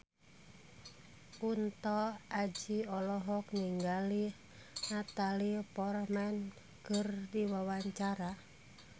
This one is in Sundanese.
Kunto Aji olohok ningali Natalie Portman keur diwawancara